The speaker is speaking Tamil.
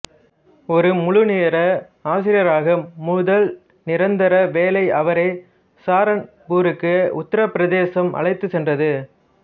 ஒரு முழுநேர ஆசிரியராக முதல் நிரந்தர வேலை அவரை சஹாரான்பூருக்கு உத்தரப் பிரதேசம் அழைத்துச் சென்றது